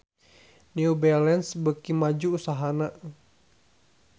New Balance beuki maju usahana